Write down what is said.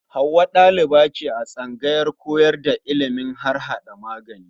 Hauwa ɗaliba ce a tsangayar koyar da ilimin harhaɗa magani.